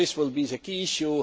This will be the key issue.